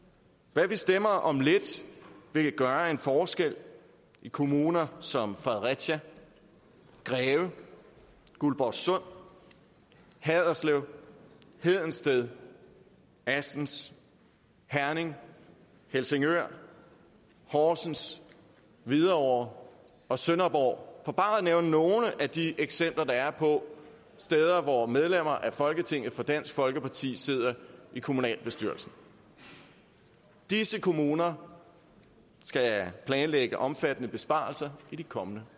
hvad vi stemmer om lidt vil gøre en forskel i kommuner som fredericia greve guldborgsund haderslev hedensted assens herning helsingør horsens hvidovre og sønderborg for bare at nævne nogle af de eksempler der er på steder hvor medlemmer af folketinget fra dansk folkeparti sidder i kommunalbestyrelsen disse kommuner skal planlægge omfattende besparelser i de kommende